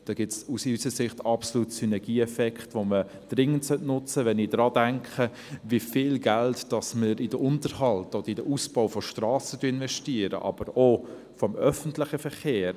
Da gibt es aus unserer Sicht absolut Synergieeffekte, die man dringend nutzen sollte, wenn ich daran denke, wie viel Geld in den Unterhalt oder in den Ausbau von Strassen investiert wird, aber auch in den öffentlichen Verkehr.